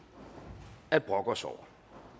at brokke os over